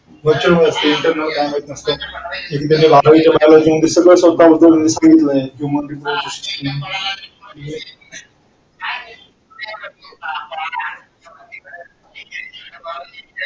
वर्षभर internal ते माहिती नसत